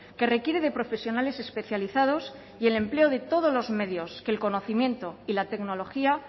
que requiere de profesionales especializados y el empleo de todos los medios que el conocimiento y la tecnología